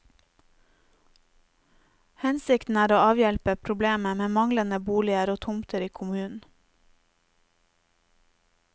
Hensikten er å avhjelpe problemet med manglende boliger og tomter i kommunen.